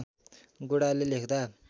गोडाले लेख्दा